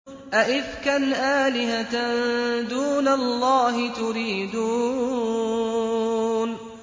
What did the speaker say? أَئِفْكًا آلِهَةً دُونَ اللَّهِ تُرِيدُونَ